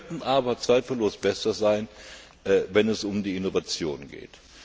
Wir könnten aber zweifellos besser sein, wenn es um die Innovation geht.